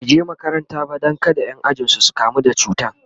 bai je makaranta ba Dan kada Ƴan ajinsu su kamu da cutan